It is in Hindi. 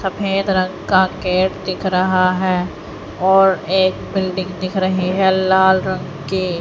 सफेद रंग का केक दिख रहा है और एक बिल्डिंग दिख रही है लाल रंग की--